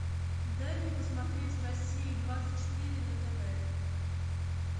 дай мне посмотреть россия двадцать четыре на тв